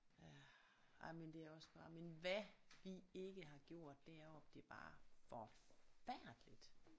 Ja ej men det er også bare men hvad vi ikke har gjort deroppe det var forfærdeligt